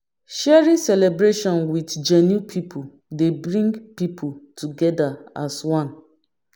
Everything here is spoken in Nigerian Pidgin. Sharing celebration with genuine pipo dey bring pipo together as one